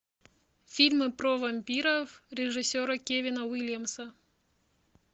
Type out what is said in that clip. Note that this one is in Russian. фильмы про вампиров режиссера кевина уильямса